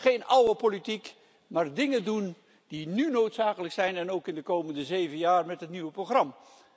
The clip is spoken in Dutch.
Geen oude politiek, maar de dingen doen die nu noodzakelijk zijn en ook in de komende zeven jaar met het nieuwe programma.